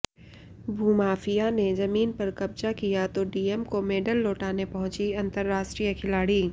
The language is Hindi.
भूमाफिया ने जमीन पर कब्जा किया तो डीएम को मेडल लौटने पहुंची अंतरराष्ट्रीय खिलाड़ी